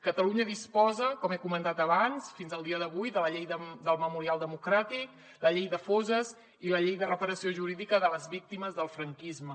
catalunya disposa com he comentat abans fins al dia d’avui de la llei del memorial democràtic la llei de fosses i la llei de reparació jurídica de les víctimes del franquisme